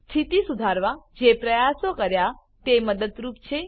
સ્થિતિ સુધારવા જે પ્રયાસો કર્યા તે મદદરૂપ છે